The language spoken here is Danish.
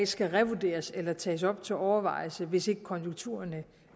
skal revurderes eller tages op til overvejelse hvis ikke konjunkturerne